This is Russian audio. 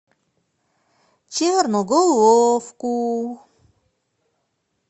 черноголовку